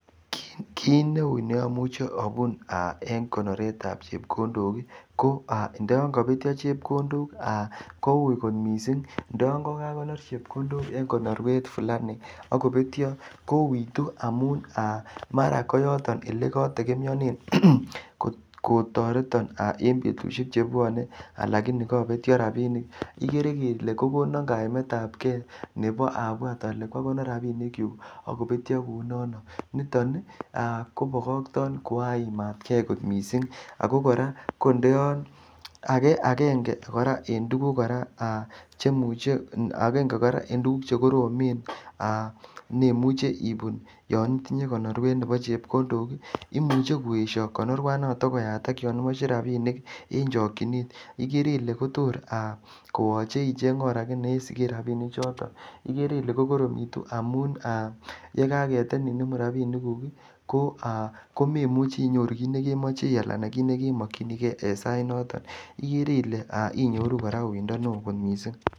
Kit neu neamuche abun en konoretab chepkondok ko ndoyon kapetyo chepkondok kou kot mising. Ndo yon kagakonor chepkondok en konorwet fulaniak kopetyo kouwitu amun aa mara koyoton elekategemeanen kotoreton en betusiek chebwone alakini kobetyo rapinik. Igere ile kokonan kaimetab ke nebo abwat ale kwakonor rapinikyuk ak kopetyo kou nondok niton kobokokton ko aimat ke kot mising ago kor kora ko ndo yon age agenge kora en tuguk kora en tuguk che koromen nemuchi ibun yon itinye konorwet nebo chepkondok. Imuche koesyo konurwanoto koyatak yon imoche rapinik en chokchinet igere ile tor koyoche icheng or age ye isigen rapisiechoto. Igere ile kor ko koromitu amun ye kakeetenin inemu rapinikuk, komemuchi inyoru kit nekemoche ana kit nekemokyinige en sait noto. Igere ile inyoru kora uindo neo kot mising.